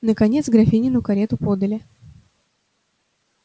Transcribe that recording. наконец графинину карету подали